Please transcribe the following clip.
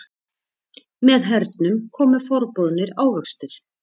Með hernum komu forboðnir ávextir.